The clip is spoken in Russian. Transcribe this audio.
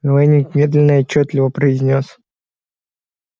лэннинг медленно и отчётливо произнёс